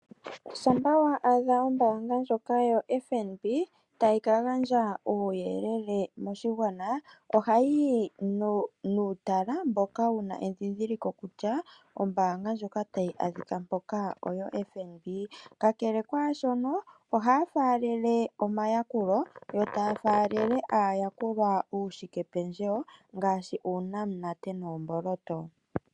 Shampa wa adha oombanga ndjoka yoFNB tayi ka gandja uuyelele moshigwana, ohayi yi nuutala mboka wuna edhidhiliko kutya ombaanga ndjoka tayi adhika mpoka oFNB kakele kwaashoka, ohaya faalele omayakulo yo taya faalele aayakulwa uushikependjewo ngaashi uunamunate noomboloto.